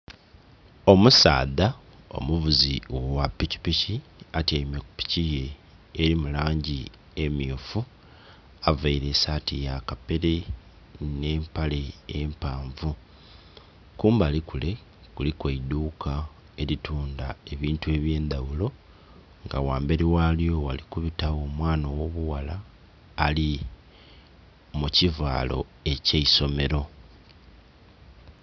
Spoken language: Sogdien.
Omusaadha omuvuzi gha piki piki atyeime kupiki ye eli mulangi emmyufu, aveire esati yakapere nhe mpale empanvu. Kumbali kule kuliku eiduuka eli tundha ebintu ebyendaghulo nga ghamberi ghalyo ghali kubita gho omwana ogho bughala ali mukivalo ekye isomelo